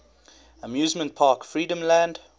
amusement park freedomland